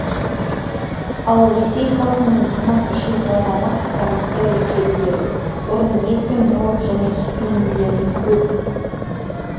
ал ресей халқының тамақ ішу талғамы айтарлықтай өзгеруде бұрын ет пен балық және сүт өнімдерін көп